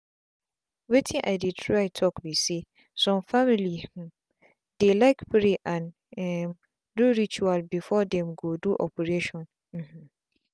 wetin i dey try talk be saysome family hmmm dey like pray and um do rituals before them go do operation. um